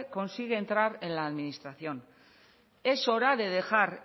consigue entrar en la administración es hora de dejar